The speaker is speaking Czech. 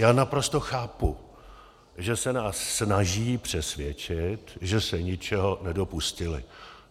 Já naprosto chápu, že se nás snaží přesvědčit, že se ničeho nedopustili.